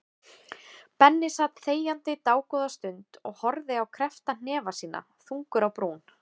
Benni sat þegjandi dágóða stund og horfði á kreppta hnefa sína, þungur á brún.